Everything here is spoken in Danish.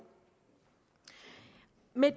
med